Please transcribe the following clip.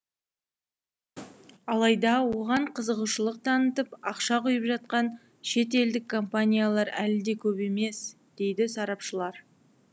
алайда оған қызығушылық танытып ақша құйып жатқан шетелдік компаниялар әлі де көп емес дейді сарапшылар